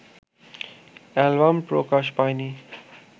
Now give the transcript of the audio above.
album প্রকাশ পায়নি